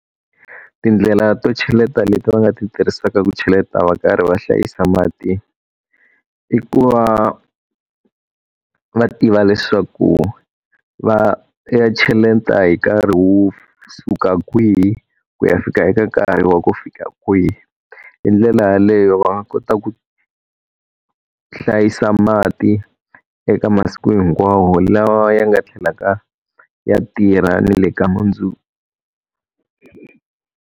Tindlela to cheleta leti va nga ti tirhisaka ku cheleta va karhi va hlayisa mati, i ku va va tiva leswaku va ya cheleta hi nkarhi wo suka kwihi ku ya fika eka nkarhi wa ku fika kwihi. Hi ndlela yaleyo va nga kota ku hlayisa mati eka masiku hinkwawo lawa ya nga tlhelaka ya tirha ni le ka mundzuku.